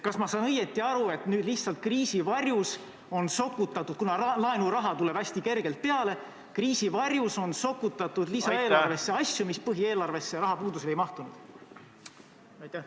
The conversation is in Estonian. Kas ma saan õigesti aru, et nüüd lihtsalt kriisi varjus on sokutatud – kuna laenuraha tuleb hästi kergelt peale – lisaeelarvesse asju, mis põhieelarvesse rahapuuduse tõttu ei mahtunud?